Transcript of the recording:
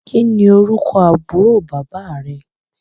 Kín ni orúkọ àbúrò bàbá rẹ?